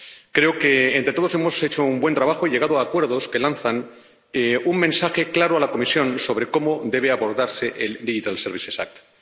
Creo que entre todos hemos hecho un buen trabajo y llegado a acuerdos que lanzan un mensaje claro a la Comisión sobre cómo debe abordarse la Ley de servicios digitales.